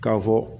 K'a fɔ